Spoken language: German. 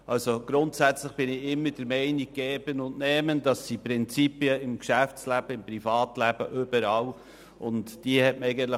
Grundsätzlich vertrete ich immer «Geben und Nehmen» als Prinzip sowohl im Geschäfts- als auch im Privatleben und überall.